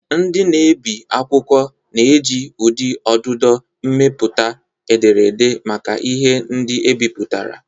Ndị na-ebi akwụkwọ na-eji ụdị ọdụdọ mepụta ederede maka ihe ndị ebipụtara.